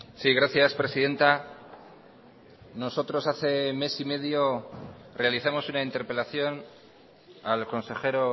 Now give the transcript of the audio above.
sí gracias presidenta nosotros hace mes y medio realizamos una interpelación al consejero